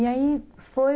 E aí foi...